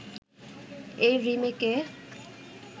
এই রিমেকে